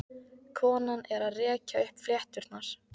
Konan er að rekja upp flétturnar.